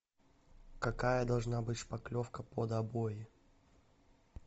какая должна быть шпаклевка под обои